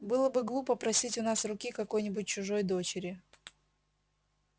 было бы глупо просить у нас руки какой-нибудь чужой дочери